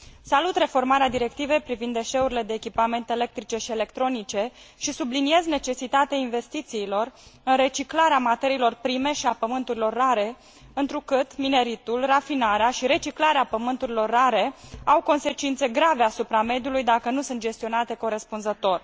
Salut reformarea Directivei privind deșeurile de echipamente electrice și electronice și subliniez necesitatea investițiilor în reciclarea materiilor prime și a pământurilor rare, întrucât mineritul, rafinarea și reciclarea pământurilor rare au consecințe grave asupra mediului dacă nu sunt gestionate corespunzător.